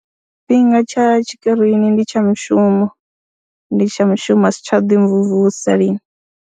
Tshifhinga tsha tshikirini ndi tsha mushumo, ndi tsha mushumo, a si tsha ḓimvumvusa lini.